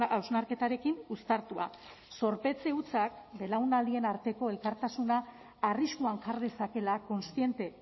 hausnarketarekin uztartua zorpetze hutsak belaunaldien arteko elkartasuna arriskuan jar dezakeela kontziente